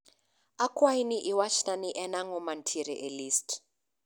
Akwayi ni iwachna ni en ango mantiere e listi